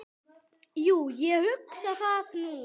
Jú, ég hugsa það nú.